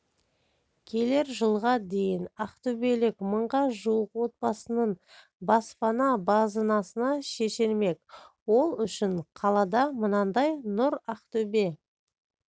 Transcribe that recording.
келер жылға дейін ақтөбелік мыңға жуық отбасының баспана базынасы шешілмек ол үшін қалада мынадай нұр ақтөбе